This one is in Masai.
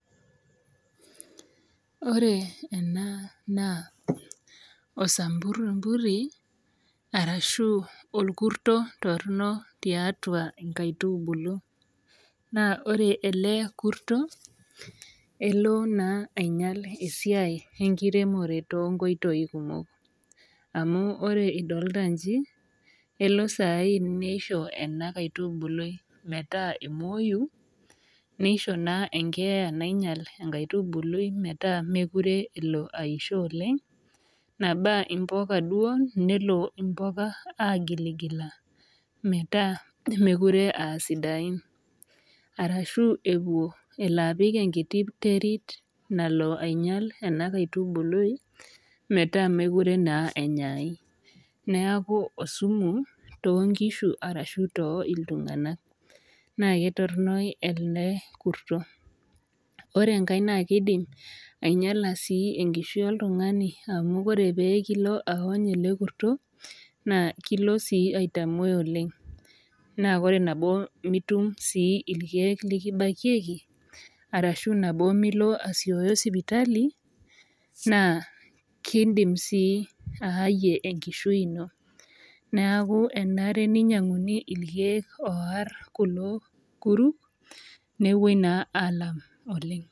Wore ena naa osamburrimburri, arashu orkurso torono tiatua inkaitubulu. Naa wore ele kurtso, elo naa ainyial esiai enkiremore toonkoitoi kumok. Amu wore idolta iji, elo saai nisho enakaitubului metaa emooi, nisho naa enkeeya nainyial enkaitubului metaa mekure elo aisho oleng'. Naba imbuka duo, nelo imbuka aagiligila metaa mekure aa sidain. Ashu elo apik enkiti terit nalo ainyial ena kaitubului metaa mekure naa enyaai. Neeku osumu toonkishu arashu tooltunganak. Naa ketorono ele kurtso. Wore enkae naa kiidim ainyiala sii enkishui oltungani amu wore pee kilo aony ele kurtso, naa kilo sii aitamoi oleng'. Naa wore nabo mitum sii irkiek likibakieki, arashu nabo milo asieyo sipitali, naa kiidim sii aayie enkishui ino. Neeku enare ninyianguni irkiek oarr kulo kuruk, nepoi naa aalam oleng'.